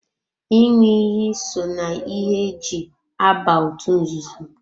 ịṅụ iyi so na ihe e ji aba otú nzuzo.